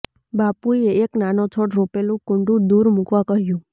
બાપુએ એક નાનો છોડ રોપેલું કૂંડું દૂર મૂકવા કહ્યું